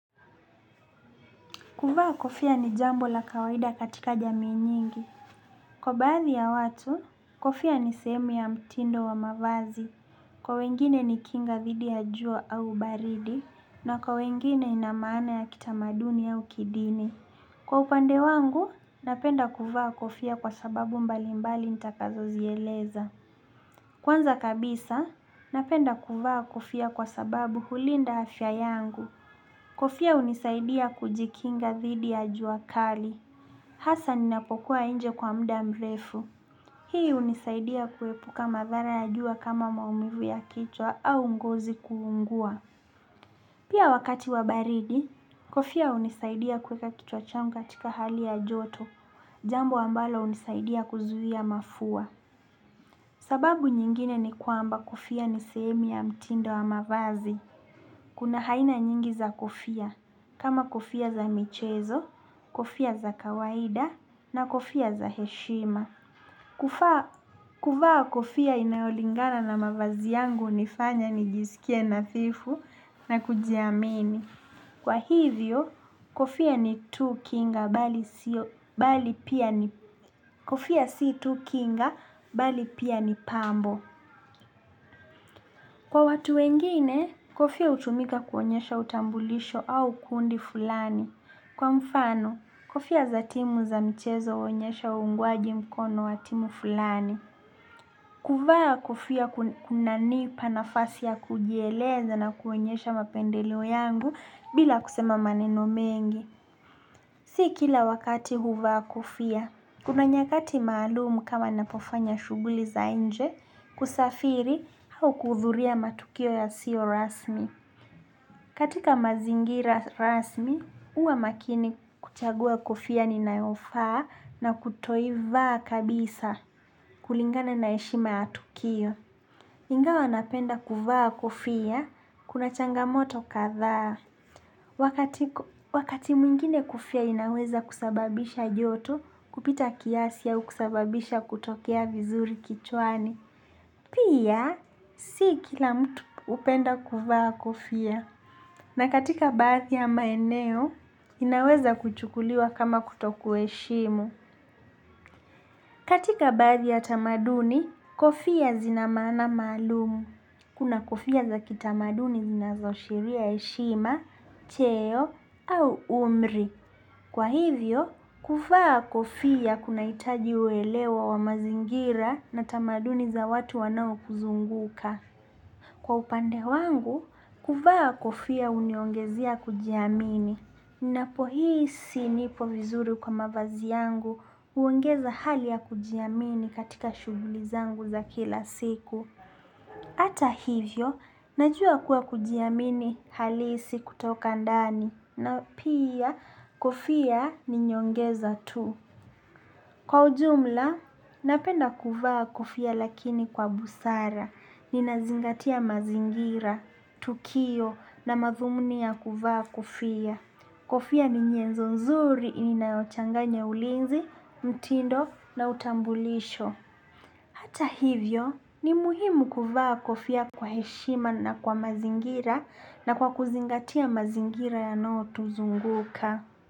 Kuvaa kofia ni jambo la kawaida katika jamii nyingi. Kwa baadhi ya watu, kofia ni sehemu ya mtindo wa mavazi. Kwa wengine ni kinga thidi ya jua au baridi. Na kwa wengine ina maana ya kitamaduni au kidini. Kwa upande wangu, napenda kuvaa kofia kwa sababu mbalimbali nitakazozieleza. Kwanza kabisa, napenda kuvaa kofia kwa sababu hulinda afya yangu. Kofia hunisaidia kujikinga dhidi ya jua kali. Hasa ninapokuwa nje kwa muda mrefu. Hii hunisaidia kuepuka madhara ya jua kama maumivu ya kichwa au ngozi kuungua. Pia wakati wa baridi, kofia hunisaidia kueka kichwa changu katika hali ya joto. Jambo ambalo hunisaidia kuzuia mafua. Sababu nyingine ni kwamba kofia ni sehemu ya mtindo wa mavazi. Kuna haina nyingi za kofia. Kama kofia za michezo, kofia za kawaida na kofia za heshima. Kuvaa kofia inayolingana na mavazi yangu hunifanya nijisikie nadhifu na kujiamini. Kwa hivyo kofia ni tu kinga bali pia pia ni pambo. Kwa watu wengine kofia hutumika kuonyesha utambulisho au kundi fulani. Kwa mfano, kofia za timu za michezo huonyesha ungwaji mkono wa timu fulani. Kuvaa kofia kunanipa nafasi ya kujieleza na kuonyesha mapendeleo yangu bila kusema maneno mengi. Si kila wakati huvaa kofia. Kuna nyakati maalum kama napofanya shughuli za nje kusafiri au kuudhuria matukio yasiyo rasmi. Katika mazingira rasmi, huwa makini kuchagua kofia ninayofaa na kutoivaa kabisa kulingana na heshima ya tukio. Ingawa napenda kuvaa kofia, kuna changamoto kadhaa. Wakati mwingine kofia inaweza kusababisha joto kupita kiasi au kusababisha kutokea vizuri kichwani. Pia, si kila mtu hupenda kuvaa kofia. Na katika baadhi ya maeneo, inaweza kuchukuliwa kama kutokuheshimu. Katika baadhi ya tamaduni, kofia zina maana maalum. Kuna kofia za kitamaduni zinazoashiria heshima, cheo au umri. Kwa hivyo, kuvaa kofia kunahitaji uelewa wa mazingira na tamaduni za watu wanaokuzunguka. Kwa upande wangu, kuvaa kofia huniongezea kujiamini. Ninapohisi nipo vizuri kwa mavazi yangu, huongeza hali ya kujiamini katika shughuli zangu za kila siku. Ata hivyo, najua kuwa kujiamini halisi kutoka ndani. Na pia, kofia ni nyongeza tu. Kwa ujumla, napenda kuvaa kufia lakini kwa busara. Ninazingatia mazingira. Tukio na madhumuni ya kuvaa kofia. Kofia ni nyezo nzuri inayochanganya ulinzi, mtindo na utambulisho. Hata hivyo ni muhimu kuvaa kofia kwa heshima na kwa mazingira na kwa kuzingatia mazingira yanayotuzunguka.